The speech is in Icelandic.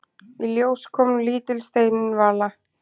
Í ljós kom lítil steinvala.